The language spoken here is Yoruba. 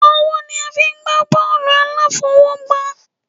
Ọwọ́ ni a fí ń gbà bọọlu aláfọwọ́gbá